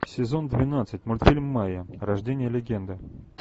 сезон двенадцать мультфильм майя рождение легенды